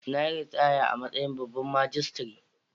Na yi ritaya a matsayin babban majistare.